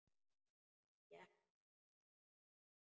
Þannig gekk það langa stund.